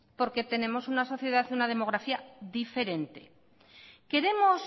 porque tenemos una sociedad y una demografía diferente queremos